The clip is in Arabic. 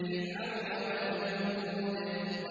فِرْعَوْنَ وَثَمُودَ